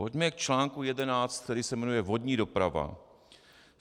Pojďme k článku 11, který se jmenuje Vodní doprava.